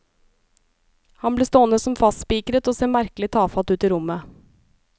Han ble stående som fastspikret og se merkelig tafatt ut i rommet.